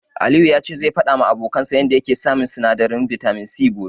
Aliyu ya ce zai faɗawa abokansa yanda yake samun sinadarin bitamin C gobe.